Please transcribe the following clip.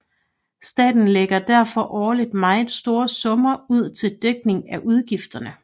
Staten lægger derfor årligt meget store summer ud til dækning af udgifterne